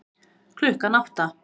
Klukkan átta